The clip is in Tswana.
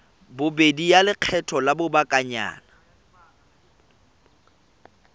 bobedi ya lekgetho la lobakanyana